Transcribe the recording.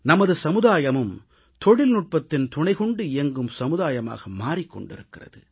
நமது சமுதாயமும் தொழில்நுட்பத்தின் துணை கொண்டு இயங்கும் சமுதாயமாக மாறிக் கொண்டிருக்கிறது